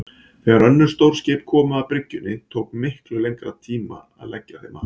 Þegar önnur stór skip komu að bryggjunni tók miklu lengri tíma að leggja þeim að.